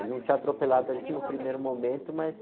Ele não tinha atropelado ali no primeiro momento, mas...